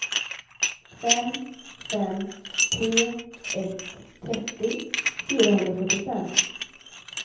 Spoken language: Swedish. fem fem tre ett trettio fyrahundrafyrtiofem